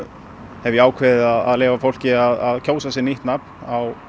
hef ég ákveðið að leyfa fólki að kjósa sér nýtt nafn á